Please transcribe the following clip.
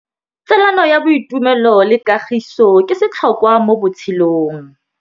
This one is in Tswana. Tsalano ya boitumelo le kagiso ke setlhôkwa mo botshelong.